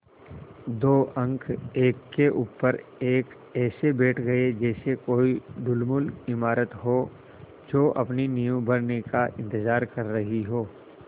दो अंक एक के ऊपर एक ऐसे बैठ गये जैसे कोई ढुलमुल इमारत हो जो अपनी नींव भरने का इन्तज़ार कर रही हो